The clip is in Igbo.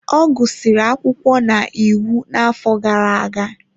Ọ gụsịrị akwụkwọ na iwu n'afọ gara aga.